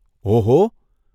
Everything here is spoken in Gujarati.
ઓહો..!